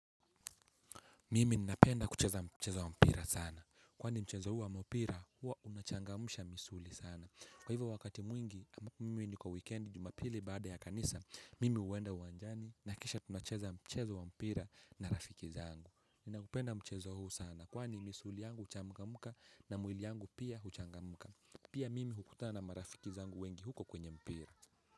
Mimi ninapenda kucheza mchezo wa mpira sana. Kwani mchezo huu wa mpira hua unachangamsha misuli sana. Kwa hivyo wakati mwingi, mwini ni kwa weekendi jumapili baada ya kanisa, mimi huenda uwanjani na kisha tunacheza mchezo wa mpira na rafiki zangu. Ninaupenda mchezo huu sana. Kwani misuli yangu uchangamuka na mwili yangu pia huchangamka. Pia mimi hukutana marafiki zangu wengi huko kwenye mpira.